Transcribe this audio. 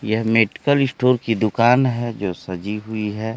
यह medical store की दुकान है जो सजी हुई है।